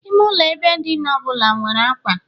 Ime ụlọ ebe dina ọ bụla nwere ákwà